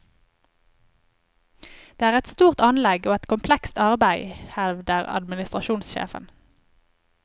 Det er et stort anlegg og et komplekst arbeid, hevder administrasjonssjefen.